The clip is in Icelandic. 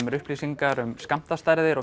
upplýsingar um skammtastærð og